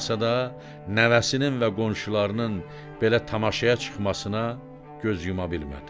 da nəvəsinin və qonşularının belə tamaşaya çıxmasına göz yuma bilmədi.